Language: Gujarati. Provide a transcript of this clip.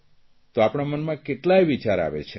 તો આપણા મનમાં કેટલાક વિચાર આવે છે